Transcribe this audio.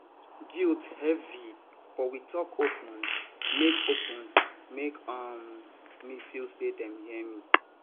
guilt heavy but we talk open make open make um me feel say dem hear me